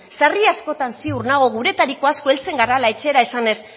sarri askotan ziur nago guretariko asko heltzen garala etxera esanez